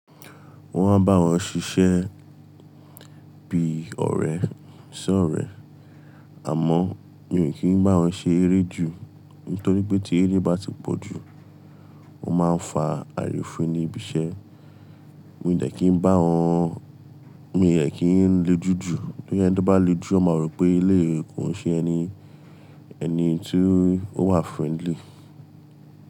Wọ́n máa ń bá wọn ṣiṣẹ́ bí ọ̀rẹ́, ṣẹ́ ọ̀rẹ́. Àmọ́ mi ò kí ń bá wọn ṣe eré jù. Nítorí pé tí eré bá ti pọ̀ jù, wọ́n máa fa àrifin ní ibi-iṣẹ́. Mi ò de kí ń bá wọn, mi ò dẹ kí ń lejú jù. Bí ẹni to bá lejú, wọ́n máa rò pé eleyi kò ń ṣe ẹni, ẹni tí ó wà friendly.